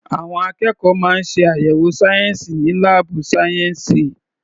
Àwọn akẹ́kọ̀ọ́ máa ń ṣe àyẹ̀wò sayensi ní laabu sayensi.